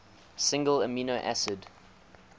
single amino acid